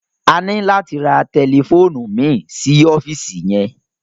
A ní láti ra tẹlifóònù mìí sí ọ́fíìsì yẹn.